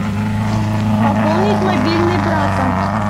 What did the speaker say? пополнить мобильный брата